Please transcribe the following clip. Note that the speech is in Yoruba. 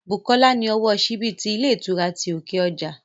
Bùkọ́lá ni ọlọ́wọ́ síbí ti ilé ìtura ti òkè ọjà